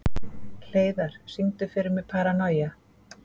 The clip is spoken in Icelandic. Hleiðar, syngdu fyrir mig „Paranoia“.